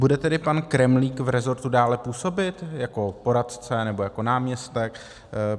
Bude tedy pan Kremlík v rezortu dále působit jako poradce nebo jako náměstek?